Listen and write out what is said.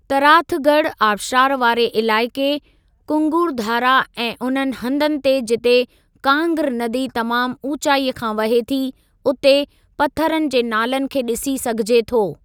तराथ गढ़ आबशारु वारे इलाइक़े, कुंगुर धारा ऐं उन्हनि हंधनि ते जिते कांग्र नदी तमामु ऊचाई खां वहे थी, उते पथरनि जे नालनि खे ॾिसी सघिजे थो।